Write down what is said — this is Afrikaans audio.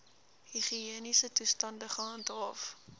higiëniese toestande gehandhaaf